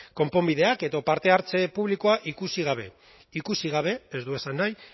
konponbideak edo parte hartze publikoa ikusi gabe ikusi gabe ez du esan nahi